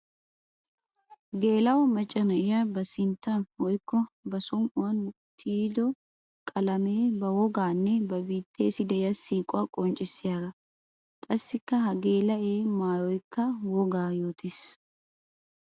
Geela'o macca na'iya ba sinttan woykko ba somi'uwan tiyido qalame ba woganne ba biittessi de'iya siiquwaa qonccissiyaaga. Qassikka ha gela'ee maayoykka wogaa yoottees.